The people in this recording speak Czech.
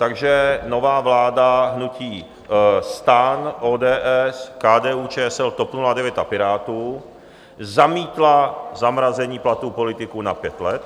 Takže nová vláda hnutí STAN, ODS, KDU-ČSL, TOP 09 a Pirátů zamítla zamrazení platů politiků na pět let.